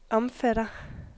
omfatter